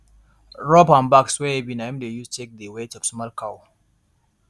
rope and bags wey heavy na im dey use check the weight of small cow